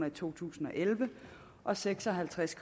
i to tusind og elleve og seks og halvtreds